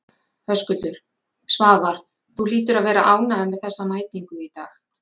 Höskuldur: Svavar, þú hlýtur að vera ánægður með þessa mætingu í dag?